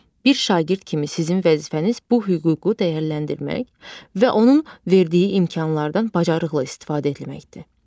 Bir şagird kimi sizin vəzifəniz bu hüququ dəyərləndirmək və onun verdiyi imkanlardan bacarıqla istifadə etməkdir.